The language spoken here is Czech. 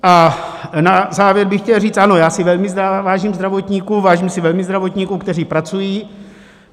A na závěr bych chtěl říct ano, já si velmi vážím zdravotníků, vážím si velmi zdravotníků, kteří pracují.